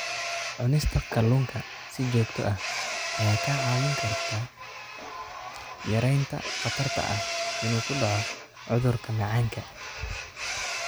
Cunista kalluunka si joogto ah ayaa kaa caawin karta yaraynta khatarta ah inuu ku dhaco cudurka macaanka.